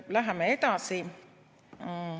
Läheme edasi.